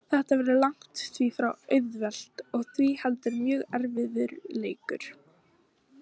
Þetta verður langt því frá auðvelt og því heldur mjög erfiður leikur.